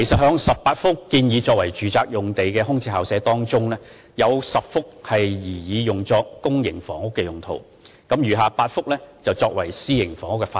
在18幅建議作為住宅用途的空置校舍用地中，有10幅擬作為公營房屋用途，餘下8幅則擬用作私營房屋發展。